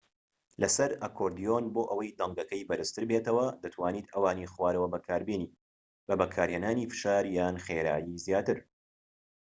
لەسەر ئەکۆردیۆن بۆ ئەوەی دەنگەکەی بەرزتر بێتەوە دەتوانیت ئەوانی خوارەوە بەکاربێنیت بە بەکارهێنانی فشار یان خێرایی زیاتر